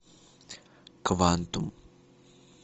квантум